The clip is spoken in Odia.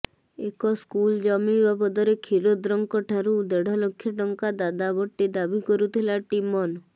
ଏକ ସ୍କୁଲ ଜମି ବାବଦରେ କ୍ଷୀରୋଦ୍ରଙ୍କଠାରୁ ଦେଢଲକ୍ଷ ଟଙ୍କା ଦାବା ବଟି ଦାବି କରୁଥିଲା ଟିମନ୍